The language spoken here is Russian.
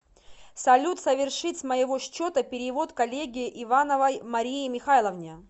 салют совершить с моего счета перевод коллеге ивановой марии михайловне